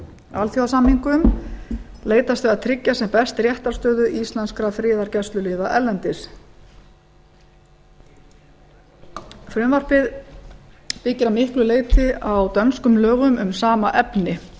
alþjóðasamningum leitast við að tryggja sem best réttarstöðu íslenskra friðargæsluliða erlendis frumvarpið byggir að miklu leyti á dönskum lögum um sama efni